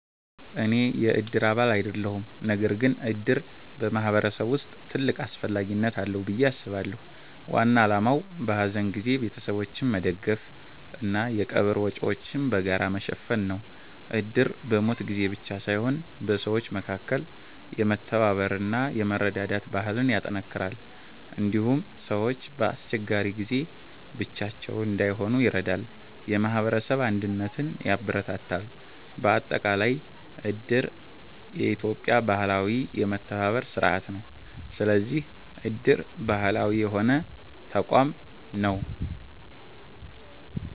እኔ የእድር አባል አይደለሁም። ነገር ግን እድር በማህበረሰብ ውስጥ ትልቅ አስፈላጊነት አለው ብዬ አስባለሁ። ዋና ዓላማው በሐዘን ጊዜ ቤተሰቦችን መደገፍ እና የቀብር ወጪዎችን በጋራ መሸፈን ነው። እድር በሞት ጊዜ ብቻ ሳይሆን በሰዎች መካከል የመተባበር እና የመረዳዳት ባህልን ያጠናክራል። እንዲሁም ሰዎች በአስቸጋሪ ጊዜ ብቻቸውን እንዳይሆኑ ይረዳል፣ የማህበረሰብ አንድነትን ያበረታታል። በአጠቃላይ እድር የኢትዮጵያ ባህላዊ የመተባበር ስርዓት ነው። ስለዚህ እድር ባህላዊ የሆነ ተቋም ነው።